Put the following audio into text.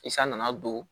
I san nana don